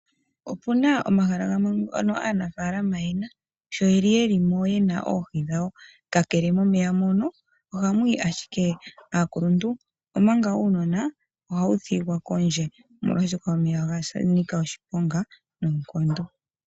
Opuna omahala gamwe ngono aanafaalama yena sho yeli yeli mo yena mo oohi dhawo. Kakele momeya mono ohamu yi owala aakuluntu. Uunona ohawu thigala kondje oshoka omeya ogeli ga nika oshiponga noonkondo.